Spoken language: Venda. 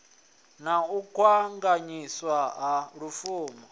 na u kanganyiswa ha lupfumo